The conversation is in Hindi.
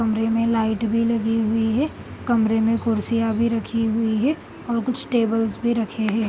कमरे मे लाइट भी लगे हुई है कमरे मैं कुर्सियाँ भी रखी हुई है और कुछ टेबल्स भी रखे हैं ।